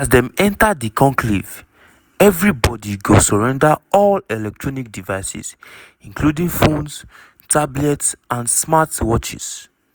as dem enta di conclave evri body go surrender all electronic devices including phones tablets and smart watches.